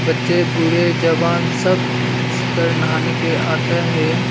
बच्चे बूढ़े जवान सब इस पर नहाने के आते हैं।